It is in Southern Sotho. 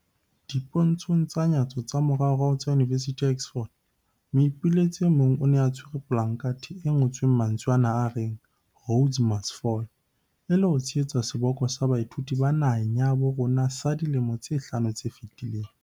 Dipontshong tsa nyatso tsa moraorao tsa Yunivesithi ya Oxford, moipelaetsi e mong o ne a tshwere polakathe e ngo-tsweng mantswe a reng 'Rhodes must Fall', e le ho tshehetsa seboko sa baithuti ba naheng ya habo rona sa dilemong tse hlano tse fetileng.